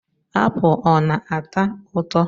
Apụl ọ na-ata ụtọ.